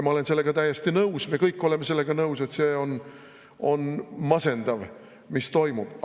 Ma olen sellega täiesti nõus, me kõik oleme sellega nõus, et see on masendav, mis toimub.